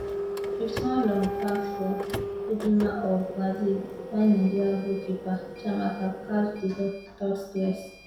fifty one long pass from ludmila of brazil buy nigeria goalkeeper chiamaka catch di ball without stress